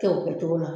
Kɛ o kɛcogo la